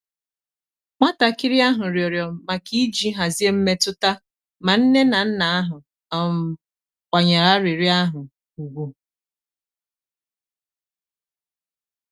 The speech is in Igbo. nwatakịrị ahụ rịọrọ maka iji hazie mmetụta ma nne na nna ahụ um kwanyere arịrịọ ahụ ùgwù.